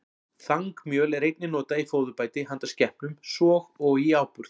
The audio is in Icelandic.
Þangmjöl er einnig notað í fóðurbæti handa skepnum, svo og í áburð.